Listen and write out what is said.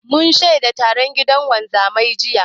Mun shaida taron gidan wanzaman, jiya.